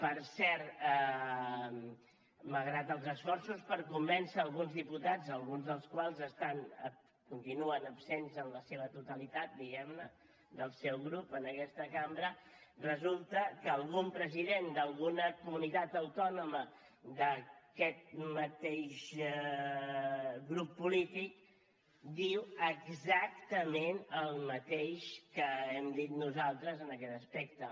per cert malgrat els esforços per convèncer alguns diputats alguns dels quals continuen absents en la seva totalitat diguemne del seu grup en aquesta cambra resulta que algun president d’alguna comunitat autònoma d’aquest mateix grup polític diu exactament el mateix que hem dit nosaltres en aquest aspecte